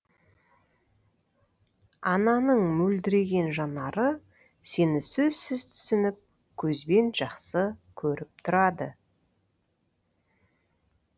ананың мөлдіреген жанары сені сөзсіз түсініп көзбен жақсы көріп тұрады